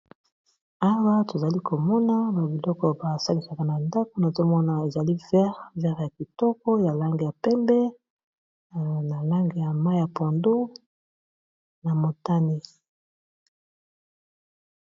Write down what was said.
awa tozali komona babiloko basalisaka na nda kuna tomona ezali vere ya kitoko ya lange ya pembe na lange ya mai ya pondo na motani